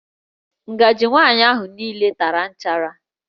Ngaji nwaanyị ahụ niile tara nchara